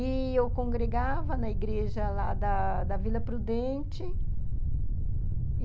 E eu congregava na igreja lá da da Vila Prudente.